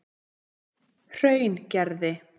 Hraungerði